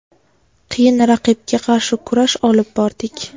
Qiyin raqibga qarshi kurash olib bordik.